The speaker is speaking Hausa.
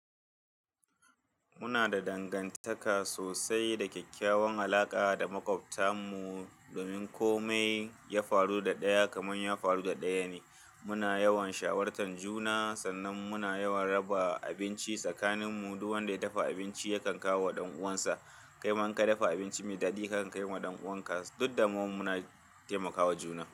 Muna da dangantaka sosai da kyakkyawan alaƙa da maƙwabtan mu. Domin kome ya faru da ɗaya kamar ya faru da ɗaya ne. Muna yawan shawartan juna sannan muna yawan raba abinci tsakanin mu. Duk wanda ya dafa abinci yakan kawo wa ɗan uwansa. Kai man ka dafa abinci mai daɗi kakan kai ma ɗan uwanka. Dudda mu muna temaka juna.